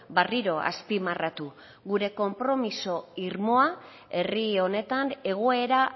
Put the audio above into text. berriro azpimarratu gure konpromiso irmoa herri honetan egoera